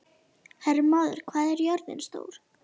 Hermóður, hvað er jörðin stór?